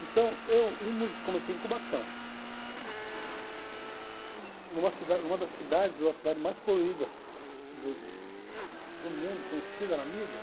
Então, eu, um músico, comecei em Cubatão, numa cidade, uma das cidades ou a cidade mais poluída do do mundo, conhecida na mídia.